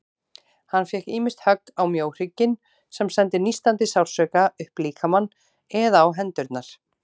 Hann fékk ýmist högg á mjóhrygginn, sem sendi nístandi sársauka upp líkamann, eða á hendurnar.